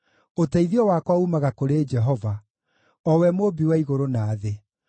Ũteithio wakwa uumaga kũrĩ Jehova, o we Mũũmbi wa igũrũ na thĩ.